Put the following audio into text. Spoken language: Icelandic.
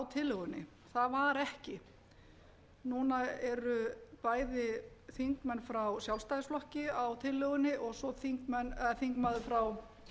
tillögunni það var ekki núna eru bæði þingmenn frá sjálfstæðisflokki á tillögunni og svo þingmaður frá